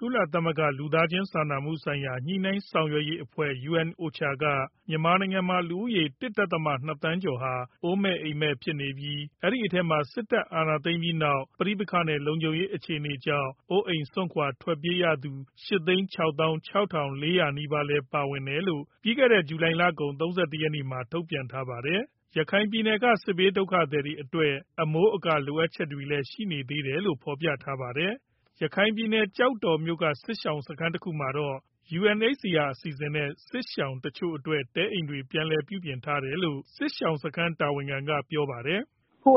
ကုလသမဂ္ဂ လူသားချင်းစာနာမှုဆိုင်ရာ ညှိနှိုင်းဆောင်ရွက်ရေးအဖွဲ့ UNOCHA က မြန်မာနိုင်ငံမှာ လူဦးရေ ၁ ဒဿမ ၂ သန်းကျော်ဟာ အိုးမဲ့အိမ်မဲ့ဖြစ်နေပြီး အဲဒီထဲမှာ စစ်တပ်အာဏာသိမ်းပြီးနောက် ပဋိပက္ခနဲ့ လုံခြုံရေးအခြေအနေကြောင့် အိုးအိမ်စွန့်ခွာ ထွက်ပြေးရသူ ၈၆၆,၄၀၀ နီးပါးလည်း ပါဝင်တယ်လို့ ဇူလိုင်လ ၃၁ ရက်မှာ ထုတ်ပြန်ထားပါတယ်။ ရခိုင်ပြည်နယ်က စစ်ဘေးဒုက္ခသည်တွေအတွက် အမိုးအကာလိုအပ်ချက်တွေလည်း ရှိနေသေးတယ်လို့ ဖော်ပြထားပါတယ်။ ရခိုင်ပြည်နယ်၊ ကျောက်တော်မြို့နယ်က စစ်ရှောင်စခန်းတခုမှာတော့ UNHCR အစီအစဉ်နဲ့ စစ်ရှောင်တချို့အတွက် တဲအိမ်တွေပြန်လည် ပြုပြင်ထားတယ်လို့ စစ်ရှောင်စခန်းတာဝန်ခံက ပြောပါတယ်။ "အခု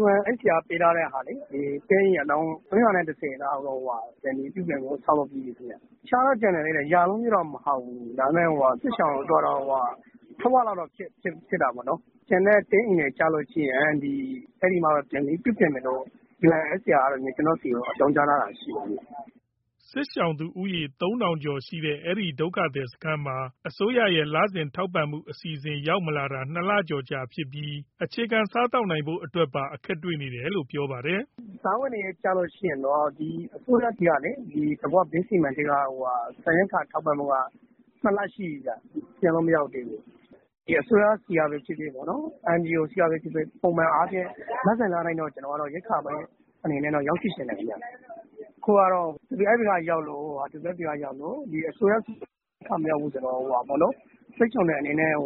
UNHCR က ပေးထားတဲ့ တဲအိမ်အလုံး ၃၁၀ ပြန်လည်ပြုပြင် ဆောက်လုပ်ပြီးပြီ။ နေထိုင်ဖို့အတွက် ကျန်တော့ကျန်နေသေးတယ်၊ ရာနှုန်းပြည့်တော့မဟုတ်ဘူး။ ဒါပေမဲ့ စစ်ရှောင်ဦးရေ ထက်ဝက်လောက်အတွက်တော့ ပြုပြင်ဆောက်လုပ်ပြီးပြီပေါ့နော်။ ကျန်တဲ့ တဲအိမ်တွေကျလို့ရှိရင် မိုးကုန်လောက်မှာ ပြန်လည်ပြုပြင်မယ်လို့ UNHCR က ကျနော့်ဆီကို အကြောင်းကြားထားတာရှိတယ် ခင်ဗျ။" စစ်ရှောင်သူဦးရေ ၃,၀၀၀ ကျော်ရှိတဲ့ အဲဒီဒုက္ခသည်စခန်းမှာ အစိုးရရဲ့ လစဉ်ထောက်ပံ့မှုအစီအစဉ် ရောက်မလာတာ ၂ လကျော်ကြာပြီဖြစ်လို့ အခြေခံစားသောက်နိုင်ဖို့အတွက်မှာပါ အခက်တွေ့နေတယ်လို့ ပြောပါတယ်။ "စားဝတ်နေရေးက အစိုးရဆီက သဘာဝဘေးစီမံကိန်းကနေ ဆန်ရိက္ခာထောက်ပံ့မှုက မရောက်တာ ၂ လရှိပြီဗျ။ အစိုးရဆီကပဲဖြစ်ဖြစ်၊ NGO ဆီကပဲဖြစ်ဖြစ် ပုံမှန်အားဖြင့် လစဉ်လတိုင်းတော့ ရိက္ခာရောက်ရှိစေချင်တယ်ဗျ။ အခုကတော့ WFP ကရောက်ပြီး အစိုးရဆီကမရောက်ဘူးဆိုတော့ စစ်ရှောင်တွေအနေနဲ့ အ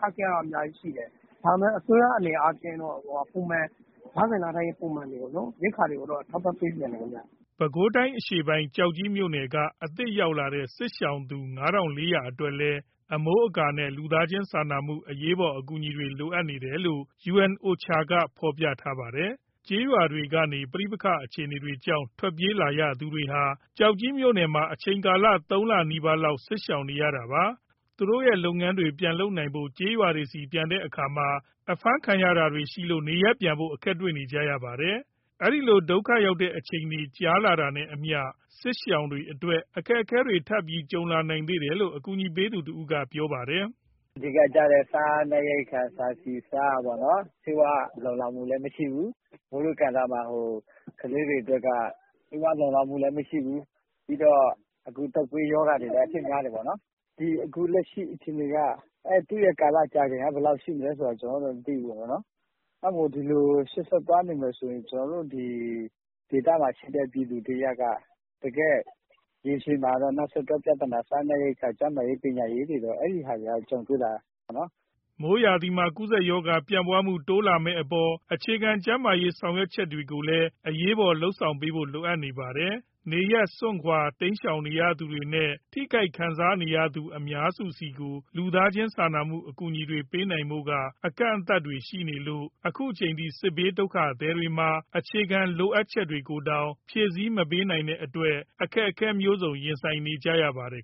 ခက်အခဲကတော့ အများကြီးရှိတယ်။ ဒါပေမဲ့ အစိုးရအနေနဲ့ကတော့ ရိက္ခာတွေကို လစဉ်လတိုင်း ထောက်ပံ့ပေးစေချင်တယ် ခင်ဗျ။" ပဲခူးတိုင်း အရှေ့ပိုင်း၊ ကျောက်ကြီးမြို့နယ်က အသစ်ရောက်လာတဲ့ စစ်ရှောင်သူ ၅,၄၀၀ အတွက်လည်း အမိုးအကာနဲ့ လူသားချင်းစာနာထောက်ထားမှု အကူအညီတွေ အရေးပေါ်လိုအပ်နေတယ်လို့ UNOCHA က ဖော်ပြထားပါတယ်။ ရွာတွေကနေ ပဋိပက္ခအခြေအနေကြောင့် ထွက်ပြေးလာရသူတွေဟာ ကျောက်ကြီးမှာ အချိန်ကာလ ၃ လနီးပါးလောက် စစ်ရှောင်နေရတာပါ။ သူတို့ရဲ့ လုပ်ငန်းတွေပြန်လုပ်နိုင်ဖို့ ကျေးရွာဆီပြန်တဲ့အခါမှာ ဖမ်းဆီးခံရတာတွေရှိလို့ နေရပ်ပြန်ဖို့ အခက်တွေ့နေပါတယ်။ ဒီလို ဒုက္ခများတဲ့ အချိန်ကာလကြာလာတာနဲ့အမျှ စစ်ရှောင်တွေအတွက် အခက်အခဲအတော်များများ ထပ်ပြီးကြုံလာနိုင်ဦးမယ်လို့ ကူညီပေးနေသူတဦးက ပြောပါတယ်။ "အဓိကကျတဲ့ စားနပ်ရိက္ခာ ဆန်၊ ဆီ၊ ဆား လုံလောက်မှုလည်းမရှိဘူး။ မိုးတွင်းကာလမှာ ကလေးတွေအတွက်က ဆေးဝါးလုံလောက်မှုလည်း မရှိဘူး။ ပြီးတော့ အခု တုပ်ကွေးရောဂါအဖြစ်များတယ်။ အခုလက်ရှိအခြေအနေ ကာလကြာချိန်က ဘယ်လောက်ရှိမလဲဆိုတာ ကျနော်တို့လည်း မသိဘူးပေါ့နော်။ အဲဒီလိုမျိုး ရှေ့ဆက်သွားနေမယ်ဆိုရင် ကျနော်တို့ ဒီဒေသမှာရှိတဲ့ ပြည်သူတရပ်က တကယ့်ရေရှည်မှာ နောက်ဆက်တွဲပြဿနာဖြစ်တဲ့ စားနပ်ရိက္ခာ၊ ကျန်းမာရေး၊ ပညာရေးတွေမှာလည်း အခက်အခဲတွေက ကြုံတွေ့လာနိုင်တယ်။" မိုးရာသီမှာ ကူးစက်ရောဂါ ပြန့်ပွှားမှု တိုးလာမယ့်အပေါ် အခြေခံကျန်းမာရေး ဆောင်ရွက်ချက်တွေကိုလည်း အရေးပေါ်လုပ်ဆောင်ဖို့ လိုအပ်နေပါတယ်။ နေရပ်စွန့်ခွာ တိမ်းရှောင်နေရသူတွေနဲ့ ထိခိုက်ခံစားခဲ့ရသူ အများစုဆီကို လူသားချင်းစာနာမှု အကူအညီတွေပေးနိုင်ဖို့က အကန့်အသတ်တွေရှိနေလို့ အခုချိန်ထိ စစ်ဘေးဒုက္ခသည်တွေမှာ အခြေခံလိုအပ်ချက်တွေကိုတောင် မဖြည့်တင်းနိုင်တဲ့ အခက်အခဲတွေ ရင်ဆိုင်နေရပါတယ်